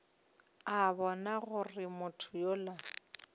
a bona gore motho yola